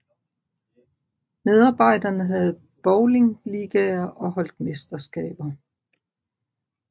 Medarbejderne havde bowlingligaer og holdt mesterskaber